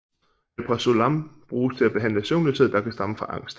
Alprazolam bruges til at behandle søvnløshed der kan stamme fra angst